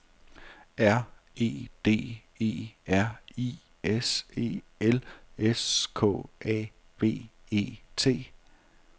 R E D E R I S E L S K A B E T